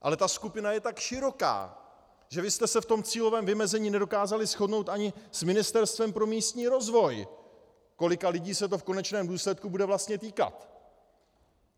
Ale ta skupina je tak široká, že vy jste se v tom cílovém vymezení nedokázali shodnout ani s Ministerstvem pro místní rozvoj, kolika lidí se to v konečném důsledku bude vlastně týkat.